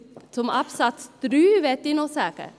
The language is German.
Zu Absatz 3 möchte ich noch sagen: